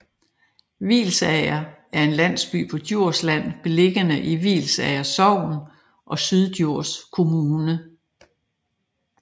Hvilsager er en landsby på Djursland beliggende i Hvilsager Sogn og Syddjurs Kommune